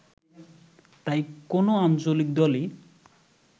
তাই কোনও আঞ্চলিক দলই